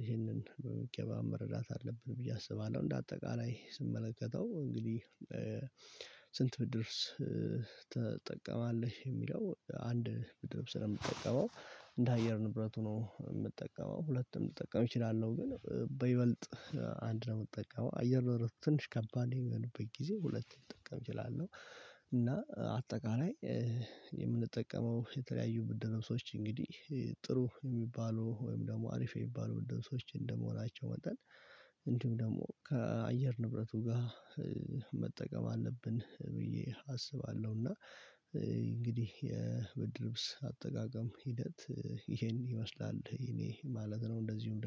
ይሄንን በመደበኛ መረዳት አለብን ብዬ አስባለሁ። እንደ አጠቃላይ ስመለከተው እንግዲህ ስንት ብርድ ትጠቀማለህ? የሚለው አንድ ብርድ ስለምጠቀም እንደ አየር ንብረት ሆኖ የምጠቀመው ሁለትም ልጠቀም እችላለሁ። ግን በይበልጥ አንድ ነው የምጠቀመው። አየር ነው ትንሽ ከባድ የሚሆኑበት ጊዜ ሁለት ልጥቅም እችላለሁ። እና አጠቃላይ የምንጠቀመው የተለያዩ ብርድ ልብስ ነው። ሰዎች እንግዲህ ጥሩ የሚባሉ ወይም ደግሞ አሪፍ የሚባሉ ልብሶች እንደመሆናቸው መጣን እንዲሁም ደግሞ ከአየር ንብረቱ ጋር መጠቀም አለብን ብዬ አስባለሁ። እና እንግዲህ የብርድ ልብስ አጠቃቀም ሂደት ይሄን ይመስላል እኔ ማለት ነው። እንደዚሁም